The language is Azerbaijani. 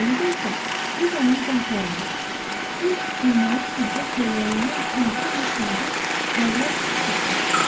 İrəlidə isə düz onun gənc şəhərində tünd sürməyi üfüqdə şölələnən tənha bir ulduz parlaq işıq saçırdı.